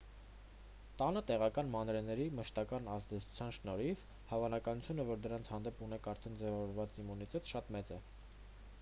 տանը տեղական մանրէների մշտական ազդեցության շնորհիվ հավանականությունը որ դրանց հանդեպ ունեք արդեն ձևավորված իմունիտետ շատ մեծ է